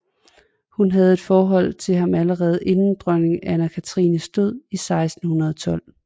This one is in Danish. Hun havde et forhold til ham allerede inden dronning Anna Cathrines død i 1612